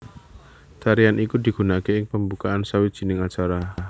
Tarian iku digunakake ing pembukaan sawijining acara